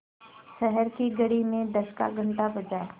शहर की घड़ी में दस का घण्टा बजा